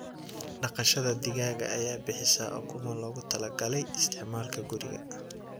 Dhaqashada digaaga ayaa bixisa ukumo loogu talagalay isticmaalka guriga.